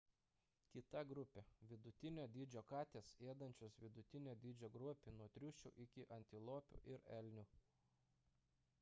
kita grupė – vidutinio dydžio katės ėdančios vidutinio dydžio grobį nuo triušių iki antilopių ir elnių